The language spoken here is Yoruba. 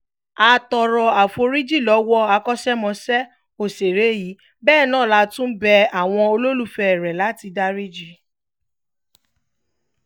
a tọrọ àforíjì lọ́wọ́ akọ́ṣẹ́mọṣẹ́ òṣèré yìí bẹ́ẹ̀ náà látún bẹ àwọn olólùfẹ̀ẹ́ rẹ̀ láti dariji wá